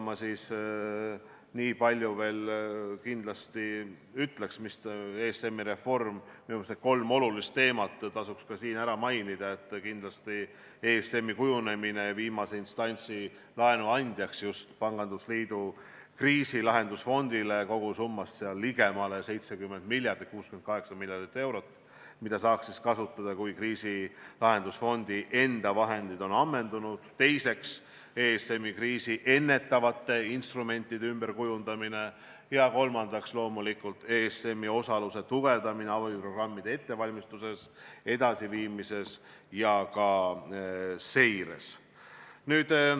Ma niipalju veel ütleks, et minu meelest tasuks need kolm olulist teemat siin ära mainida: esiteks, ESM-i kujunemine viimase instantsi laenuandjaks just pangandusliidu kriisilahendusfondile kogusummas ligemale 70 miljardit eurot , mida saaks kasutada siis, kui kriisilahendusfondi enda vahendid on ammendunud, teiseks, ESM-i kriisi ennetavate instrumentide ümberkujundamine, kolmandaks, loomulikult ESM-i osaluse tugevdamine abiprogrammide ettevalmistuses, edasiviimises ja ka seires.